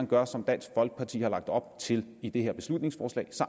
gør som dansk folkeparti har lagt op til i det her beslutningsforslag